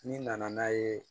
N'i nana n'a ye